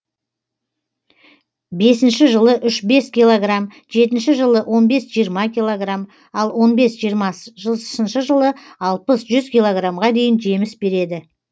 бесінші жылы үш бес килограмм жетінші жылы он бес жиырма килограмм ал он бес жиырмасыншы жылы алпыс жүз килограммға дейін жеміс береді